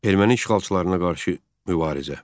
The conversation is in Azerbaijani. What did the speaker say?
Erməni işğalçılarına qarşı mübarizə.